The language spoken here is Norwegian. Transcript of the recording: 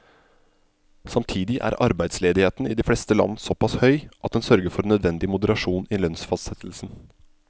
Samtidig er arbeidsledigheten i de fleste land såpass høy at den sørger for nødvendig moderasjon i lønnsfastsettelsen.